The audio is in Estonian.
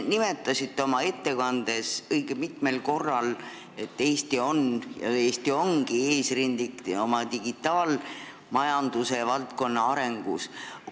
Te nimetasite oma ettekandes õige mitmel korral, et Eesti on – ja Eesti ongi – eesrindlik oma digitaalmajandusvaldkonna arengu poolest.